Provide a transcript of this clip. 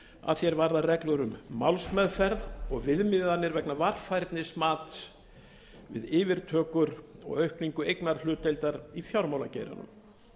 að því er varðar reglur um málsmeðferð og viðmiðanir vegna varfærnismats við yfirtökur og aukningu eignarhlutdeildar í fjármálageiranum